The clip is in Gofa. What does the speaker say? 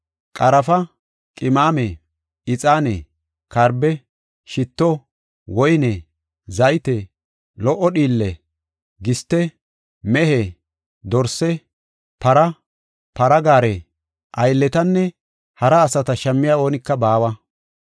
qarafa, qimame, ixaane, karbe, shitto, woyne, zayte, lo77o dhiille, giste, mehe, dorse, para, para gaare, aylletanne hara asata shammiya oonika baawa.